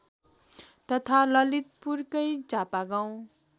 तथा ललितपुरकै चापागाउँ